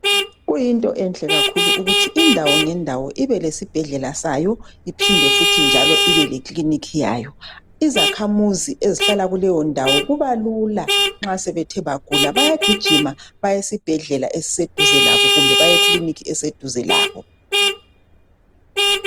Kuyinto enhle kakhulu ukuthi indawo ngendawo ibelesibhedlela sayo, iphinde futhi njalo ibe leclinic yayo. Izakhamizi ezihlala kuleyondawo, kubalula nxa sebethe bagula. Bayagijima, baye esibhedlela esiseduze labo. Kumbe baye eclinic eseduze labo.